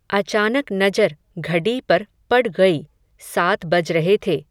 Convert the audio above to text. अचानक नजर घडी पर पड ग़यी, सात बज रहे थे